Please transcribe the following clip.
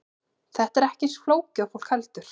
Þetta er ekki eins flókið og fólk heldur.